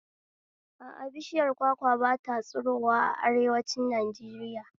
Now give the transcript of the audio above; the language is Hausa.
A a, bishiyar kwakwa ba ta tsirowa a arewanci Najeriya